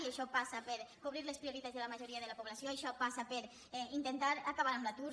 i això passa per cobrir les prioritats de la majoria de la po·blació això passa per intentar acabar amb l’atur